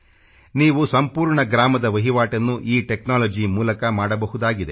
ನೀವು ಸಂಪೂರ್ಣ ಗ್ರಾಮದ ವಹಿವಾಟನ್ನು ಈ ಟೆಕ್ನಾಲಜಿ ಮೂಲಕ ಮಾಡಬಹುದಾಗಿದೆ